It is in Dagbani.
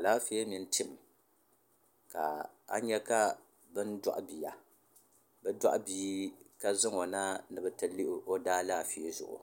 alaaƒɛ mini tɛm ka a nyɛ bɛn zuɣ bia ka zaŋɔ na ni be ti lihi o daalɛƒɛzugu